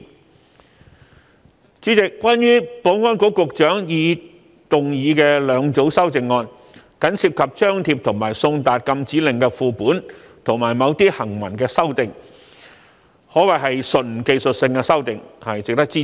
代理主席，關於保安局局長動議的兩組修正案，僅涉及張貼及送達禁止令的副本，以及某些行文上的修訂，可謂純技術性修訂，值得支持。